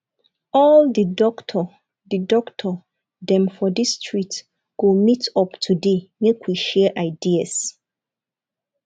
all di doctor di doctor dem for dis street go meet up today make we share ideas